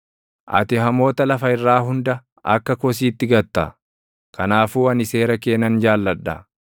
Ati hamoota lafa irraa hunda akka kosiitti gatta; kanaafuu ani seera kee nan jaalladha.